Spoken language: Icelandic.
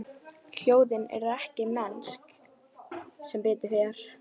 Hljóðin eru ekki mennsk, sem betur fer.